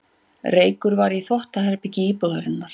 Reykur var í þvottaherbergi íbúðarinnar